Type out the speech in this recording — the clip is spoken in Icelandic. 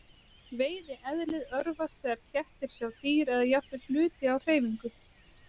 Veiðieðlið örvast þegar kettir sjá dýr eða jafnvel hluti á hreyfingu.